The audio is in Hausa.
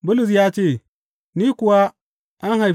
Bulus ya ce, Ni kuwa an haife ni ɗan ƙasa.